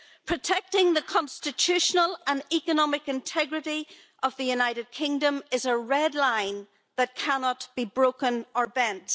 Protecting the constitutional and economic integrity of the United Kingdom is a red line that cannot be broken or bent.